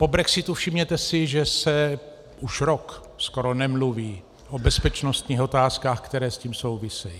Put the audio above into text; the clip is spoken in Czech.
Po brexitu, všimněte si, že se už rok skoro nemluví o bezpečnostních otázkách, které s tím souvisejí.